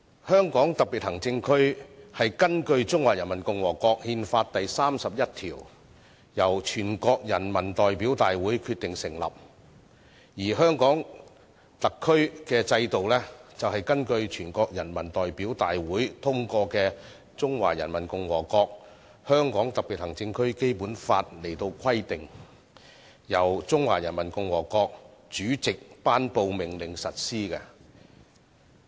香港特別行政區是根據《中華人民共和國憲法》第三十一條，由全國人民代表大會成立，而香港特區的制度是根據全國人大通過的《中華人民共和國香港特別行政區基本法》來規定，由中華人民共和國主席頒布命令實施的。